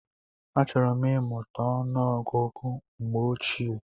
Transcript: Achọrọ m imuta ọnụ ọgụgụ mgbe ochie.